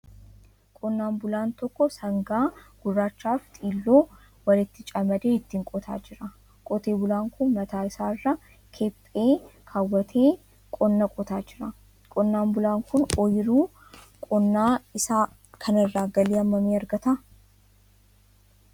Qonnaan bulaan tokko sangaa gurraachaaf xiilloo walitti camadee ittiin qotaa jira. Qote bulaan kun mataa isaarra kephee kaawwatee qonnaa qotaa jira. Qonnaan bulaan kun ooyiruu qonnaa isaa kanarraa galii hammamii argata?